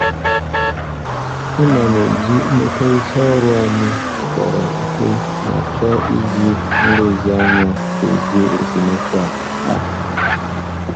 Ana m eji mmekọrịta ọrụ anyị kpọrọ ihe ma chọọ iji nlezianya dozie esemokwu a. a.